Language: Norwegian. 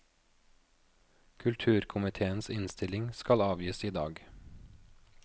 Kulturkomitéens innstilling skal avgis i dag.